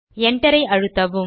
Enterஐ அழுத்தவும்